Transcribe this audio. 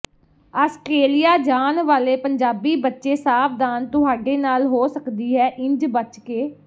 Australia ਜਾਣ ਵਾਲੇ ਪੰਜਾਬੀ ਬੱਚੇ ਸਾਵਧਾਨ ਤੁਹਾਡੇ ਨਾਲ ਹੋ ਸਕਦੀ ਹੈ ਇੰਝ ਬਚ ਕੇ